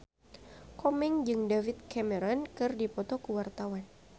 Komeng jeung David Cameron keur dipoto ku wartawan